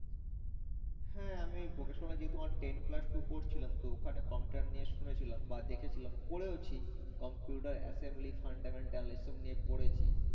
হ্যাঁ আমি vocational যে তোমার ten plus two পড়ছিলাম তো ওখানে computer নিয়ে শুনেছিলাম বা দেখেছিলাম করে ও ছি, computer assembly fundamental এসব নিয়ে পড়েছি